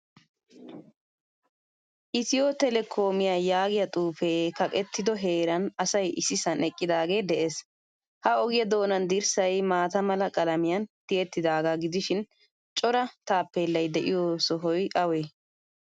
Etio telekomiyaa yaagiyaa xuufe kaqettido heeran asay issisan eqqidage de'ees. Ha ogiya doonan dirssay maataa mala qalamiyan tiyettidaga gidishiin cora taappelay deiyo shoy awe?